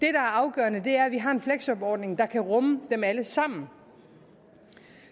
er afgørende er at vi har en fleksjobordning der kan rumme dem alle sammen